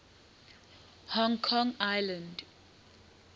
hong kong island